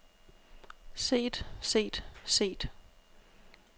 set set set